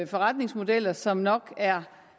forretningsmodeller som nok er